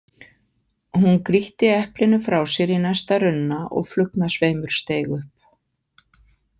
Hún grýtti eplinu frá sér í næsta runna og flugnasveimur steig upp.